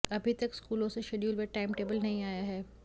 अभी तक स्कूलों से शेड्यूल व टाइम टेबल नहीं आया है